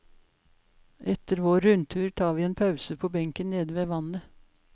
Etter vår rundtur tar vi en pause på benken nede ved vannet.